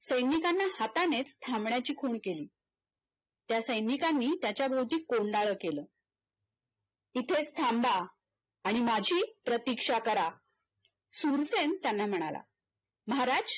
सैनिकांना हातानेच थांबण्याची खूण केली त्या सैनिकांनी त्याच्याभोवती कोंडाळ केल इथेच थांबा आणि माझी प्रतीक्षा करा शूरसेन त्यांना म्हणाला महाराज